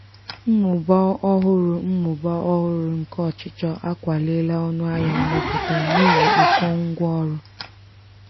mmụba ọhụrụ mmụba ọhụrụ nke ọchịchọ akwaliela ọnụ ahịa mmepụta n'ihi ụkọ ngwa ọrụ.